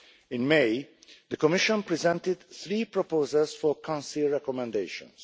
In May, the Commission presented three proposals for Council recommendations.